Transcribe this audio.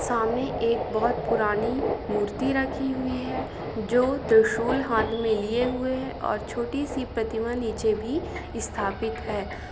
सामने एक बहुत पुरानी मूर्ति रखी हुई है जो त्रिशूल हाथ मे लिए हुए हैं और छोटी सी प्रतिमा नीचे भी स्थापित है।